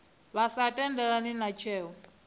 vha sa tendelani na tsheo